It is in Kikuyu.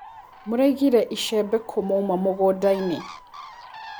Mũraigire icembe kũ mwauma mũgũndainĩ.